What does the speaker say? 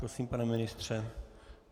Prosím, pane ministře.